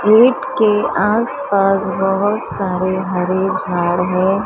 Gate के आस पास बहोत सारे हरे झाड़ है।